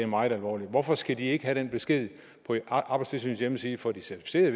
meget alvorligt hvorfor skal de ikke have den besked på arbejdstilsynets hjemmeside for de certificerede